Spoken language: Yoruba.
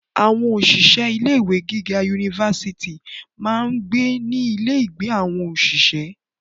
Àwọn òṣìṣẹ́ ilé ìwé giga yunifásítì máa ń gbé ní ilé ìgbé fún àwọn òṣìṣẹ́.